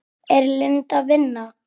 Er Linda að vinna?